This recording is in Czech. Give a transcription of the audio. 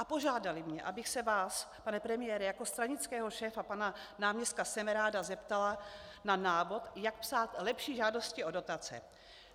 A požádali mě, abych se vás, pane premiére, jako stranického šéfa pana náměstka Semeráda zeptala na návod, jak psát lepší žádosti o dotace.